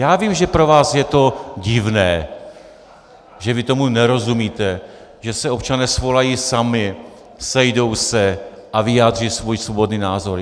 Já vím, že pro vás je to divné, že vy tomu nerozumíte, že se občané svolají sami, sejdou se a vyjádří svůj svobodný názor.